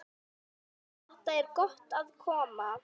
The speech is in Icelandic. Þar er gott að koma.